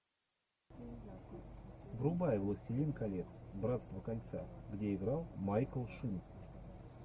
врубай властелин колец братство кольца где играл майкл шин